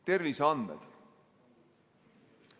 Terviseandmed.